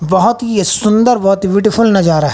बहोत ही ये सुंदर बहोत ही ब्यूटीफुल नजारा है।